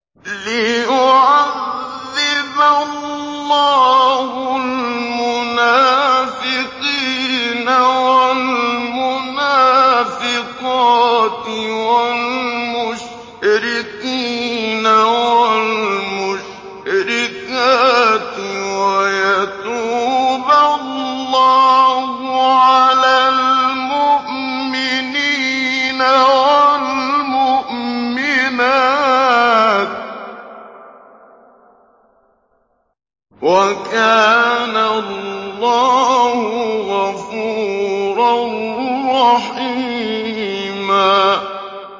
لِّيُعَذِّبَ اللَّهُ الْمُنَافِقِينَ وَالْمُنَافِقَاتِ وَالْمُشْرِكِينَ وَالْمُشْرِكَاتِ وَيَتُوبَ اللَّهُ عَلَى الْمُؤْمِنِينَ وَالْمُؤْمِنَاتِ ۗ وَكَانَ اللَّهُ غَفُورًا رَّحِيمًا